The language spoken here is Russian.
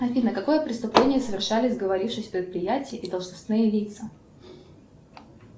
афина какое преступление совершали сговорившись предприятия и должностные лица